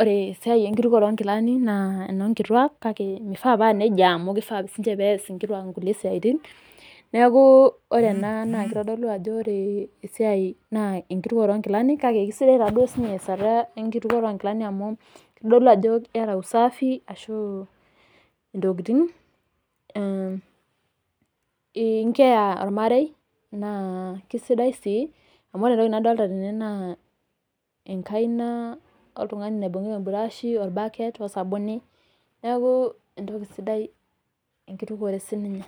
ore esiai ekitukuore oo nkilani naa enoo nkituaak naa mifaa naa nejia amu kifaa sininche nees inkituaak inkulie siaatin neeku ore ena naa kitodolu ajo ore esiaai ekutukuoto oogilani kake kisidai sii ninche easata ekitukuore oo ngilani amu kitodolu ajo iata usafi ee incare ormarei naa kisidai sii amu ore entoki nadolita tene naa enkaina naibungita eburashi, orbaket , neeku entoki sidai ekitukuore sii ninye.